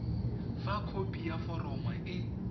fa khopi ya foromo e